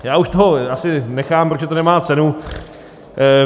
Já už toho asi nechám, protože to nemá cenu.